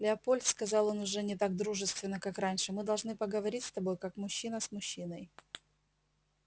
лепольд сказал он уже не так дружественно как раньше мы должны поговорить с тобой как мужчина и мужчиной